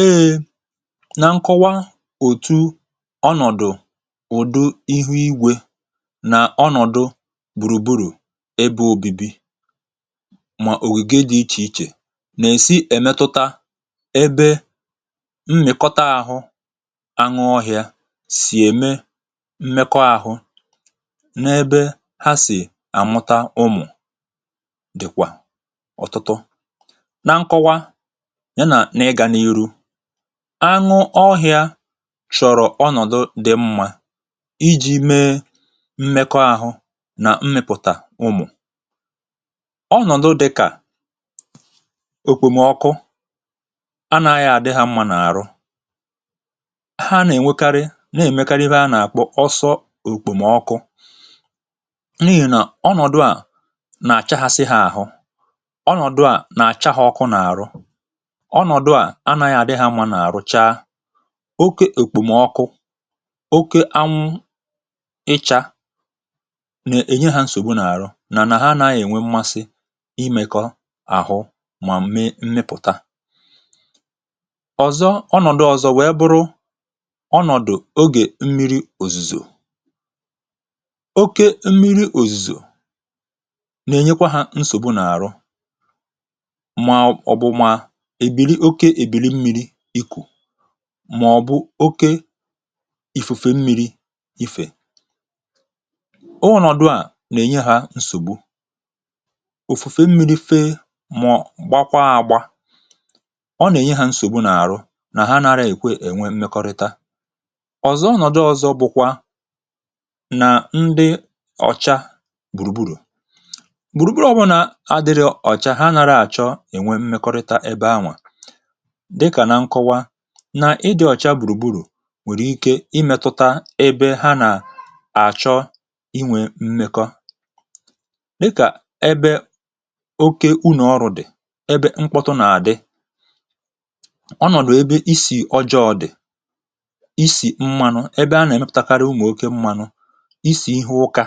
Eė nà nkọwa òtu ọnọ̀dụ̀ ụ̀dị ihu-igwė nà ọnọ̀dụ gbùrùgburù ebe òbibi mà òwùge dị̀ ichè ichè nà-èsi èmetuta ebe mmekọta àhụ aṅụ ọhịȧ sì ème mmekọahụ n’ebe ha sì àmụta ụmụ̀ dị̀kwà ọ̀tụtọ na nkọwa ya na ịga n'ihu añụ ọhị̀a chọ̀rọ̀ ọnọ̀dụ dị mmȧ iji̇ mee mmekọ ahụ̇ nà mmėpụ̀tà ụmụ̀ ọnọ̀dụ dịkà òkpòmọkụ anȧghị̇ àdị hȧ mmȧ n’àrụ ha nà-ènwekarị na-èmekanihie anà-àkpọ ọsọ òkpòmọkụ n’ihì nà ọnọ̀dụ à nà-àchaghasị ha àhụ oké èkpòmọkụ oké anwụ ịchȧ nà-ènye hȧ nsògbu n’àrụ nà nà ha anà-ènwe mmasị imėkọ àhụ mà mee mmịpụ̀ta ọ̀zọ ọnọ̀dụ̀ ọ̀zọ wèe bụrụ ọnọ̀dụ̀ ogè mmiri òzùzò oké mmiri òzùzò nà-ènyekwa hȧ nsògbu n’àrụ mà ọ̀ bụ̀ oke ifùfe mmi̇ri̇ ifè o ụ̀nọ̀dụ à nà-ènye hȧ nsògbu òfùfe mmi̇ri̇ fee màọ̀ọ̀ gbakwaa àgwa ọ nà-ènye hȧ nsògbu n’àrụ nà ha nara èkwe ènwe mmekọrịta ọ̀zọ nọja ọ̀zọ bụkwa nà ndị ọ̀cha gbùrùgburù gbùrùgburù ọbụ̇nà adịrị ọ̀cha ha narȧ àchọ ènwe mmekọrịta ebe anwà dịkà na nkọwa nà ịdị̇ ọchaa gbùrùgburù nwèrè ike imėtụta ebe ha nà àchọ inwė mmekọ dịkà ebe oke u nà ọrụ̇ dị̀ ebe nkpọtụ nà àdị ọnọ̀dụ̀ ebe isì ọjọọ ọ̀ dị̀ isì mmȧnụ̇ ebe a nà-èmepụ̇takarị umù oke mmȧnụ̇ isì ihe ụkȧ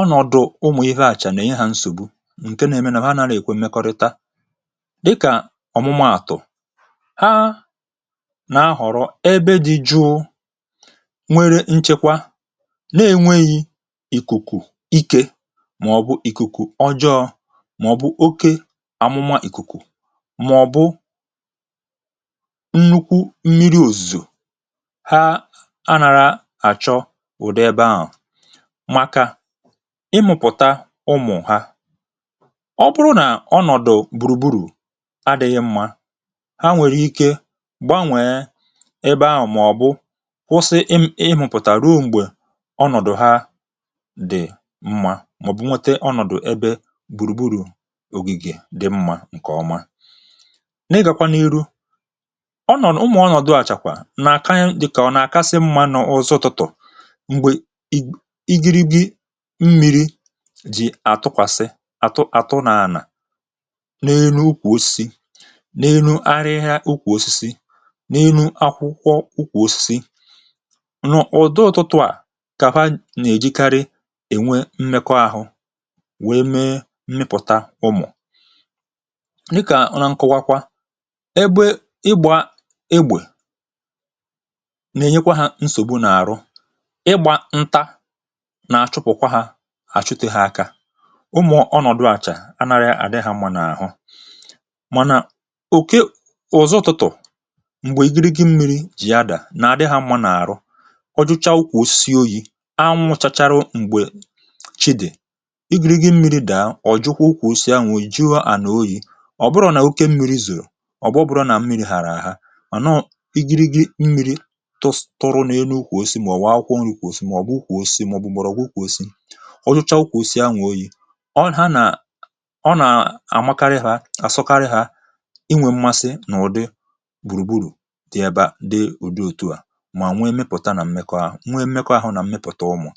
ọnọ̀dụ̀ umù ihe àchà nà ịhà nsògbu ǹke na-eme nà ha nà-àrà èkwe mmekọrịta dịkà ọ̀mụmaàtụ̀ ha na-ahọ̀rọ ebe dị̇ jụụ nwere nchekwa na-enweghị̇ ị̀kụ̀kụ̀ ike màọ̀bụ̀ ị̀kụ̀kụ̀ ọjọọ̇ màọ̀bụ̀ oke àmụma ị̀kụ̀kụ̀ màọ̀bụ̀ nnukwu mmiri òzò ha a nàra àchọ ùde ebe ahụ̀ màkà ịmụ̀pụ̀ta ụmụ̀ ha ọ bụrụ nà ọnọ̀dụ̀ gbùrùgburù adịghị mmȧ gbànwèe ebe ahụ̀ mà ọ̀ bụ kwụsị ịm ịhụ̀pụ̀tà ruo m̀gbè ọnọ̀dụ̀ ha dị̀ mmȧ màọ̀bụ̀ nwete ọnọ̀dụ̀ ebe gbùrù gburù ògìgè dị mmȧ ǹkè ọma n’ịgàkwa n’ihu ọ nọ̀ n’ụmụ̀ ọnọ̀dụ̀ àchàkwà nà àka dị kà ọ nà àkasị mmȧ nà ọzọ tụtụ̀ m̀gbè ị ị giri gị mmiri jì àtụkwàsị atụ àtụ nà ànà n’ihu akwụkwọ ụkwụ̇ osisi nụ̀, ọdụ ụtụtụ à kàpa nà-èjikarị ènwe mmekọ ahụ̇ wee mee mmịpụ̀ta ụmụ̀ ị kà na nkụwakwa ebe ịgbȧ egbè nà-ènyekwa ha nsògbu n’àrụ ịgbȧ ǹta nà-àchụpụ̀kwa hȧ àchụtị ha akȧ ụmụ̀ ọnọ̀dụ àchà anarị àdị hȧ mȧnà àhụ m̀gbè ìgiri gị mmiri jì ya dà nà àdị hȧ mma n’àrụ ọ jụcha ụkwụ̀ si oyi̇ a nwụ̇chachara m̀gbè chịdị̀ igiri̇ gị mmiri dàa ọ̀ jụkwa ụkwụ̀ si ėnwè jihu à nà oyi̇ ọ̀ bụrọ̇ nà oke mmiri zùrù ọ̀ bụ̇ obodo nà mmiri hàrà àhà ọ̀ nọọ̇ igiri gị mmiri tụrụ n’elu ụkwụ̀ osisi mà ọ̀ wụ̀ akwụkwọ nri ụkwụ̀ osisi mà ọ̀ bụ ụkwụ̀ osisi mà ọ̀ bụ̀ mọ̀rọ̀gwụ ụkwụ̀ osisi ọ jụcha ụkwụ̀ osisi ahụ̀ oyi̇ ọ ha nàà àmakarị hȧ àsụkarị hȧ dee udị òtù a mà nwee mịpụ̀ta nà m̀mekọ ahụ̀ nwee mịmịkọ ahụ̀ nà m̀mịpụta ụmụ̀